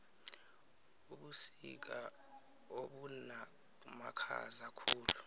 ubusika obumakhaza khulu